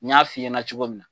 N y'a f'i ɲɛna cogo min.